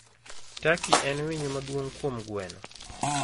Taki en winyo maduong kuom gweno.